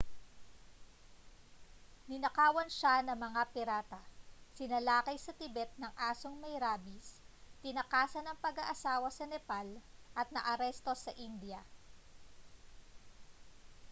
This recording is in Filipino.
ninakawan siya ng mga pirata sinalakay sa tibet ng asong may rabis tinakasan ang pag-aasawa sa nepal at naaresto sa india